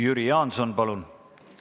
Jüri Jaanson, palun!